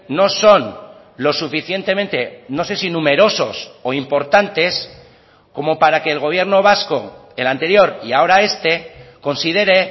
no son lo suficientemente no sé si numerosos o importantes como para que el gobierno vasco el anterior y ahora este considere